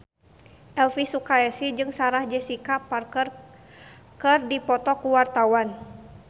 Elvi Sukaesih jeung Sarah Jessica Parker keur dipoto ku wartawan